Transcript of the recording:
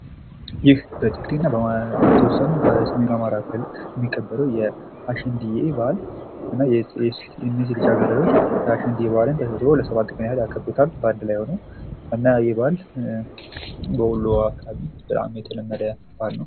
ይህ በትግሬ እና በተወሰኑ በሰሜኑ አማራ ክልል የሚከበረዉ የአሸንድየ በዓል ሴት ልጃገረዶች አሸንድየን ተሰብስበዉ ለ7 ቀን ያከብሩታል። እና ይሄ በዓል በወሎ አካባቢ የተለመደ ነዉ።